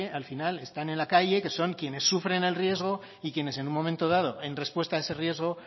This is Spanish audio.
al final están en la calle que son quienes sufren el riesgo y quienes en un momento dado en respuesta a ese riesgo